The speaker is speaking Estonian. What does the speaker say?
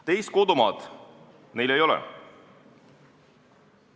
Teist kodumaad neil ei ole.